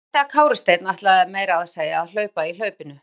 Og ég frétti að Kári Steinn ætlaði meira að segja að hlaupa í hlaupinu?